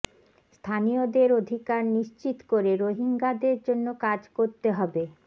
স্থানীয়দের অধিকার নিশ্চিত করে রোহিঙ্গাদের জন্য কাজ করতে হবে